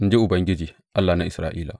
in ji Ubangiji, Allah na Isra’ila.